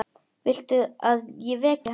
Viltu að ég veki hana?